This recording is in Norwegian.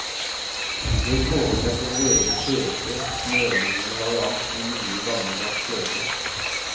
Jeg foretrekker vår egen fete, smørliknende variant med mye gammeldags fløte.